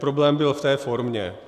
Problém byl v té formě.